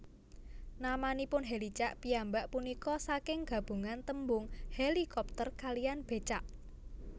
Namanipun Hèlicak piyambak punika saking gabungan tembung hélikopter kaliyan bécak